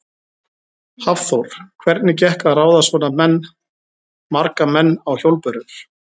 Hafþór: Hvernig gekk að ráða svona menn, marga menn á hjólbörur?